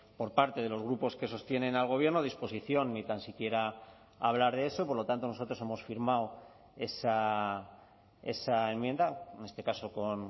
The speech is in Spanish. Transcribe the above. por parte de los grupos que sostienen al gobierno disposición ni tan siquiera a hablar de eso y por lo tanto nosotros hemos firmado esa enmienda en este caso con